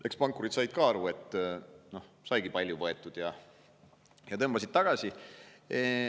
Eks pankurid said ka aru, et saigi palju võetud, ja tõmbasid tagasi.